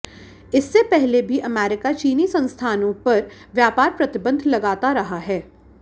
इससे पहले भी अमेरिका चीनी संस्थानों पर व्यापार प्रतिबंध लगाता रहा है